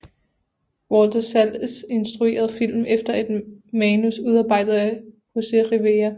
Walter Salles instruerede filmen efter et manus udarbejdet af Jose Rivera